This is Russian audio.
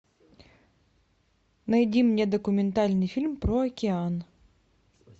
найди мне документальный фильм про океан